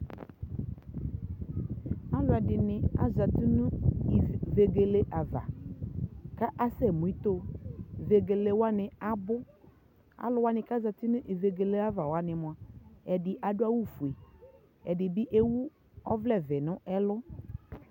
alʋɛdini azati nʋ vɛgɛlɛ aɣa kʋ asɛ mʋ itɔɔ, vɛgɛlɛ wani abʋ, alʋ wani ku azati nʋ ivɛgɛlɛ aɣa wani mʋa , ɛdi adʋ awʋ ƒʋɛ ,ɛdibi ɛwʋ ɔvlɛ vɛɛ nʋ ɛlʋ